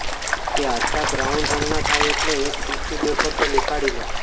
તે આછા બ્રાઉન રંગના થાય એટલે એક ટિશ્યુ પેપર પર નીકાળી લો